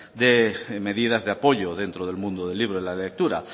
de medidas de apoyo dentro del mundo del libro y la lectura